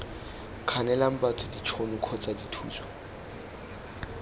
kganelang batho ditšhono kgotsa dithuso